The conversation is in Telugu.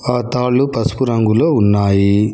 ఆ తాళ్లు పసుపు రంగులో ఉన్నాయి.